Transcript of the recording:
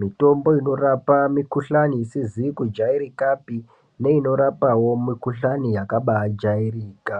mitombo inorapa mikhuhlani isizi kujairika pi neinorapa mikhuhlani yakabaa jairika.